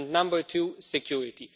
number two, security.